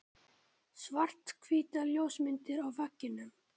Svarthvítar ljósmyndir á veggjunum.